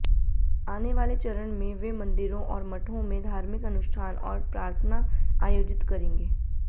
आने वाले चरण में वे मंदिरों और मठों में धार्मिक अनुष्ठान और प्रार्थना आयोजित करेंगे